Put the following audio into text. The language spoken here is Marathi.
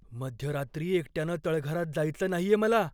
मध्यरात्री एकट्यानं तळघरात जायचं नाहीये मला.